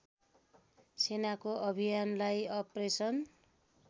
सेनाको अभियानलाई अपरेसन